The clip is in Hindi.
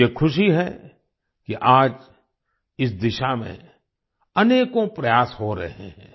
मुझे खुशी है कि आज इस दिशा में अनेकों प्रयास हो रहे हैं